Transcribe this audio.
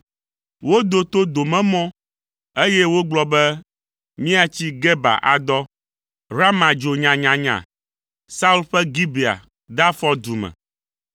Wodo to domemɔ, eye wogblɔ be, “Miatsi Geba adɔ.” Rama dzo nyanyanya, Saul ƒe Gibea de afɔ du me.